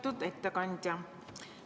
Lugupeetud ettekandja!